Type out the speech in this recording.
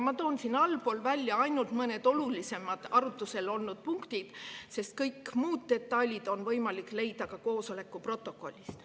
Ma toon siin välja ainult mõned olulisemad arutlusel olnud punktid, sest kõiki muid detaile on võimalik leida ka koosoleku protokollist.